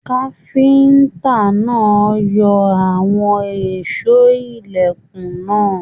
Káfíntà náà yọ àwọn èsó ilẹkùn náà.